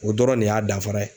O dɔrɔn de y'a danfara ye.